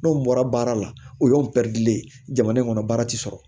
N'o bɔra baara la o y'o pɛridilen ye jamana in kɔnɔ baara tɛ sɔrɔ